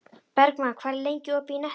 Bergmann, hvað er lengi opið í Nettó?